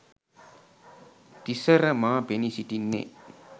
තිසර මා පෙනී සිටින්නේ